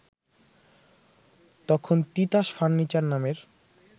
তখন তিতাস ফার্নিচার নামের